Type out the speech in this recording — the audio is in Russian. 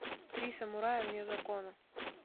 три самурая вне закона